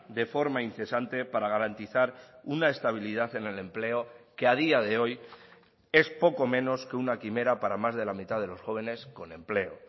de forma incesante para garantizar una estabilidad en el empleo que a día de hoy es poco menos que una quimera para más de la mitad de los jóvenes con empleo